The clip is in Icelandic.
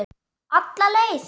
Alla leið.